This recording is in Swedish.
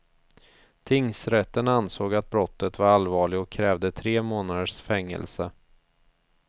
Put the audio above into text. Tingsrätten ansåg att brottet var allvarligt och krävde tre månaders fängelse.